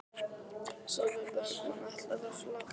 Sólveig Bergmann: Ætlarðu að flagga?